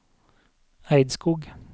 Eidskog